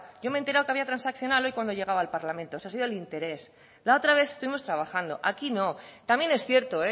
yo me he enterado que había transaccional hoy cuando he llegado al parlamento eso ha sido el interés la otra vez estuvimos trabajando aquí no también es cierto